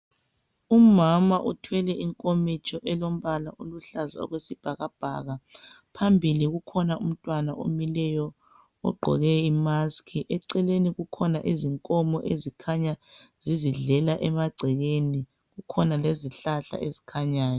Umama uthwele inkomitsho elombala oluhlaza okwesibhakabhaka. Phambili kukhona umntwana omileyo ogqoke i"mask".Eceleni kukhona izinkomo ezikhanya zizidlela emagcekeni. Kukhona lezihlahla ezikhanyayo.